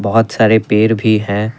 बहुत सारे पेड़ भी हैं।